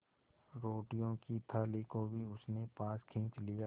रोटियों की थाली को भी उसने पास खींच लिया